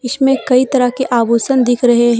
कई तरह के आभूषण दिख रहे हैं।